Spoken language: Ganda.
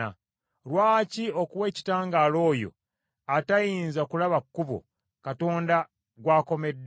Lwaki okuwa ekitangaala oyo, atayinza kulaba kkubo, Katonda gw’akomedde?